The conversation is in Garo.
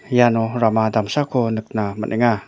iano rama damsako nikna man·enga.